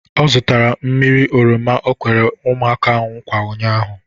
Ọ zụtara mmiri oroma o kwere ụmụaka nkwa ụnyaahụ